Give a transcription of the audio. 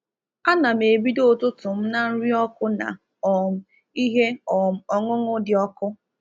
Ana m ebido ụtụtụ m na nri ọkụ na um ihe um ọṅụṅụ dị ọkụ.